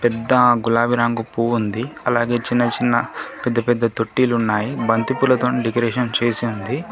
పెద్ద గులాబీ రంగు పువ్వు ఉంది అలాగే చిన్న చిన్న పెద్ద పెద్ద తొట్టిలు ఉన్నాయి బంతిపూలతోని డెకరేషన్ చేసుంది.